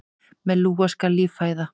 Með lúa skal líf fæða.